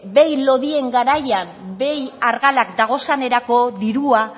behi lodien garaian behi argalak dagozanerako dirua